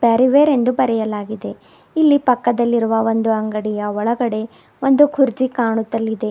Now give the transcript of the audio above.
ಪ್ಯಾರಿವೇರ್ ಎಂದು ಬರೆಯಲಾಗಿದೆ ಇಲ್ಲಿ ಪಕ್ಕದಲ್ಲಿರುವ ಒಂದು ಅಂಗಡಿಯ ಒಳಗಡೆ ಒಂದು ಕುರ್ಚಿ ಕಾಣುತ್ತದೆ.